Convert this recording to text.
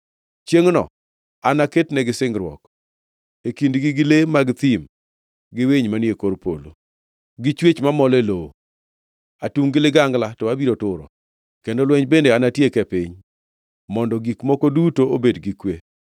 Chiengʼno anaketnegi singruok e kindgi gi le mag thim gi winy manie kor polo, gi chwech mamol e lowo, atungʼ gi ligangla to abiro turo, kendo lweny bende anatiek e piny, mondo gik moko duto obed gi kwe.